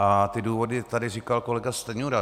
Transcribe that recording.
A ty důvody tady říkal kolega Stanjura.